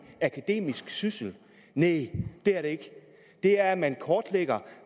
akademisk syssel næh det er det ikke det er at man kortlægger